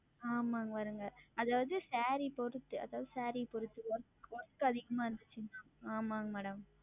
ஆமாங்க வருங்க. அதாவது Saree பொருத்து அதாவது Saree பொருத்து ma'am Work அதிகமாக இருந்துச்சின்னா ஆமாங்க Madam